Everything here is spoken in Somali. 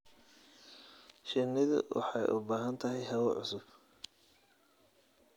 Shinnidu waxay u baahan tahay hawo cusub.